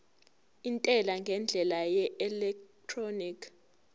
intela ngendlela yeelektroniki